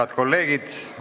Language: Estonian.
Head kolleegid!